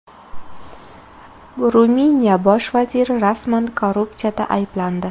Ruminiya bosh vaziri rasman korrupsiyada ayblandi.